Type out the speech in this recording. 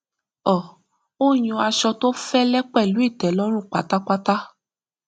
um ó yàn aṣọ tó fẹlẹ pẹlú ìtẹlọrun pátápátá